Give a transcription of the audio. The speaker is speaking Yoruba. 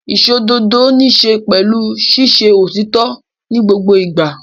Ìṣòdodo níṣe pẹ̀lú sísọ òtítọ́ ní gbogbo ìgbà.